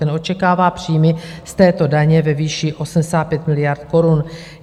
Ten očekává příjmy z této daně ve výši 85 miliard korun.